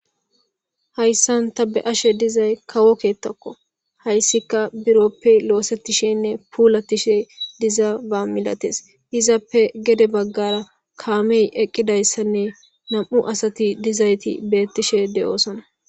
hayssan ta be ashe dizay kawo keettakko hayssika biroppi loosetishenne puulatishe diza ba milates izappe gede baggara kaamey eqqidayssanne nam7u asati dizayti bettishe de7oosana